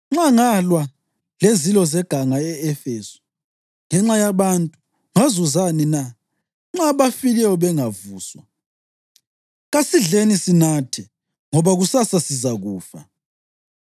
Nxa ngalwa lezilo zeganga e-Efesu ngenxa yabantu, ngazuzani na? Nxa abafileyo bengavuswa, “Kasidleni sinathe, ngoba kusasa sizakufa.” + 15.32 U-Isaya 22.13